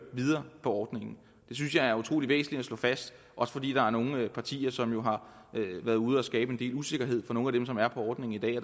videre på ordningen det synes jeg er utrolig væsentligt at slå fast også fordi der er nogle partier som jo har været ude og skabe en del usikkerhed for nogle af dem som er på ordningen i dag